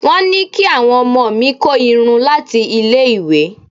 Wọ́n ní kí àwọn ọmọ mi kó irun láti ilé ìwé.